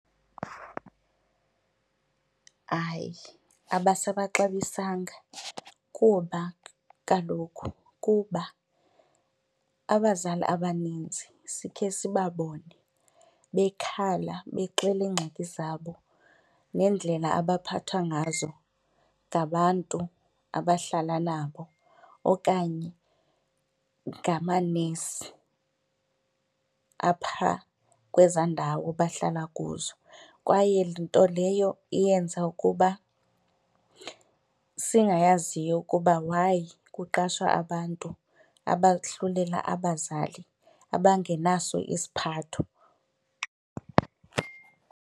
Hayi, abasabaxabisanga kuba kaloku kuba abazali abaninzi sikhe sibabone bekhala bexela iingxaki zabo neendlela abaphathwa ngazo ngabantu abahlala nabo okanye ngamanesi aphaa kwezaa ndawo bahlala kuzo kwaye nto leyo eyenza ukuba singayaziyo ukuba why kuqashwa abantu abahlulela abazali, abangenaso isiphatho.